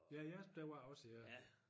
Ja i Asp der var også ja